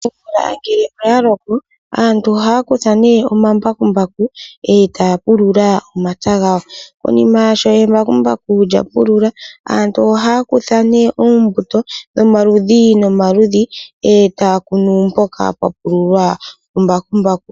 Omvula ngele oya loko aantu ohaya kutha nee omambakumbaku etay pulula omapya gawo. Konima ngele embakumbaku lya pulula, aantu ohaya kutha nee oombuto dho maludhi nomaludhi, etaya kunu mpoka pwa pululwa ku mbakumbaku.